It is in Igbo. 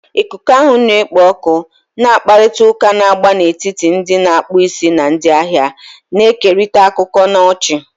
Ikuku ahụ na-ekpo ọkụ, na mkparịta ụka na-agba n'etiti ndị na-akpụ isi na ndị ahịa, na-ekerịta akụkọ na ọchị.